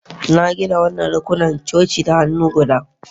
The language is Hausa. Na gina wannan rukunan coci da hannu guda